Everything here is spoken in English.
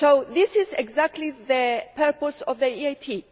This is exactly the purpose of the EIT.